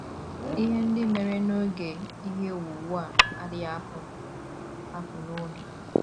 Ihe ndị mere n’oge ihe owuwu a adịghị apụ m apụ n’obi.